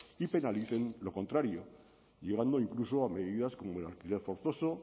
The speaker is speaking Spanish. y penalicen lo contrario llegando incluso a medidas como el alquiler forzoso